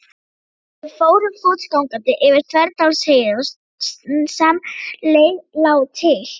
Við fórum fótgangandi yfir Þverdalsheiði og sem leið lá til